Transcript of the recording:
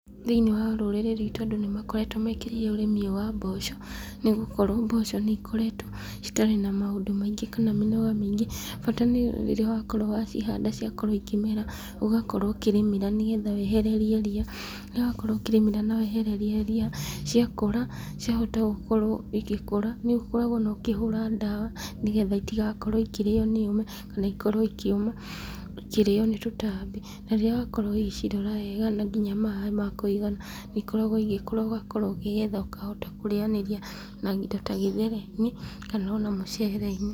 Thĩiniĩ wa rũrĩrĩ rwitũ andũ nĩ makoretwo mekĩrĩire ũrĩmi ũyũ wa mboco, nĩgũkorwo mboco nĩ ikoretwo citarĩ na maũndũ maingĩ, kana mĩnoga mĩingĩ, bata nĩ rĩrĩa wakorwo wa cihanda, ciakorwo ikĩmera , ũgakorwo ũkĩrĩmĩra nĩgetha weheria ria, ũgakorwo warĩma na wehererira ria ,ciakũra ciahota gũkorwo igĩkũra, nĩ ũkoragwo ona ũkĩhura ndawa, nĩgetha itagakorwo ikĩrĩo nĩ ũme , kana ikorwo ikĩuma, ikĩrĩo nĩ tũtambi, na rĩrĩa wakorwo ũgĩcirora wega na kũihe maaĩ makũigana , nĩ ikoragwo igĩkũra, ugakorwo ũkĩgetha ũgakorwo ũkĩhota kũrĩanĩria na indo ta gĩthere-inĩ, kana ona mũcere-inĩ.